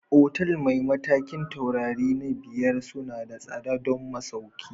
Otal mai matakin taurari na biyar suna da tsada don masauki